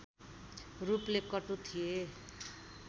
रूपले कटु थिए